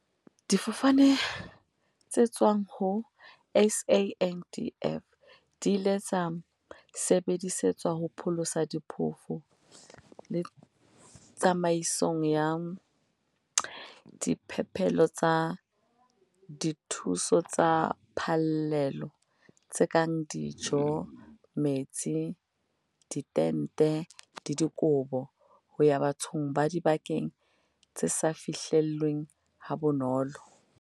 "Difofane tse tswang ho SANDF di ile tsa sebedisetswa ho pholosa diphofu le tsamaisong ya diphepelo tsa dithuso tsa phallelo- tse kang dijo, metsi, ditente le dikobo - ho ya bathong ba dibakeng tse sa fihlelleheng ha bonolo."